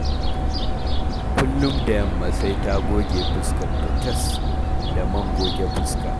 Kullum da yamma sai ta goge fuskarta tas da man goge fuska